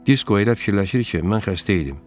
Disko elə fikirləşir ki, mən xəstə idim.